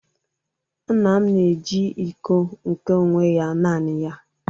nna m na-eji iko nke onwe ya naanị ya